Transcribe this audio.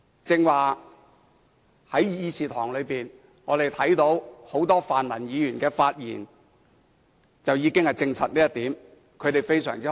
剛才在議事廳內，我們看到很多泛民議員的發言已經證實這點。